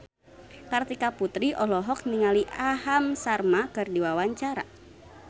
Kartika Putri olohok ningali Aham Sharma keur diwawancara